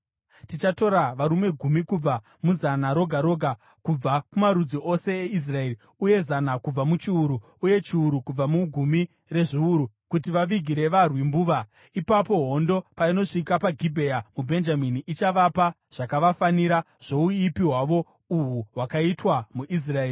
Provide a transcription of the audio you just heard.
Tichatora varume gumi kubva muzana roga roga kubva kumarudzi ose eIsraeri, uye zana kubva muchiuru, uye chiuru kubva mugumi rezviuru, kuti vavigire varwi mbuva. Ipapo, hondo painosvika paGibhea muBhenjamini, ichavapa zvakavafanira zvouipi hwavo uhu hwakaitwa muIsraeri.”